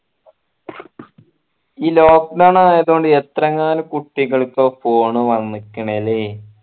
ഈ lockdown ആയതോണ്ട് എത്രയങ്ങാനോ കുട്ടികൾക്ക phone വണിക്കിണ് അല്ലെ